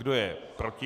Kdo je proti?